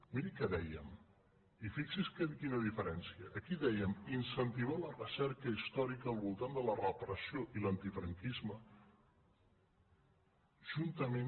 miri què dèiem i fixi’s quina diferència aquí dèiem incentivar la recerca històrica al voltant de la repressió i l’antifranquisme juntament